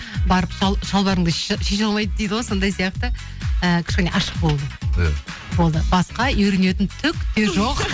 барып шалбарыңды шеше алмайды дейді ғой сондай сияқты і кішкене ашық болу иә болды басқа үйренетін түк те жоқ